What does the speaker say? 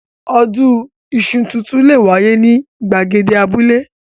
Odun iṣu tuntun le wáyé ní ìgbàgede abúlé.